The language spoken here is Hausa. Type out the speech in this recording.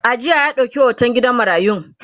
a jiya ya dauƙi hoton yaran gidan marayun